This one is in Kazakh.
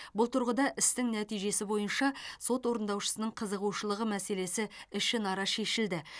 бұл тұрғыда істің нәтижесі бойынша сот орындаушысының қызығушылығы мәселесі ішінара шешілді